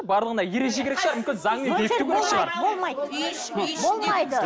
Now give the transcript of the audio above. барлығына ереже керек шығар мүмкін заңмен бекіту керек шығар болмайды болмайды болмайды